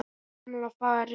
Gamla farið.